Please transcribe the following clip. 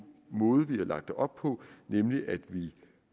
måde vi har lagt det op på nemlig at vi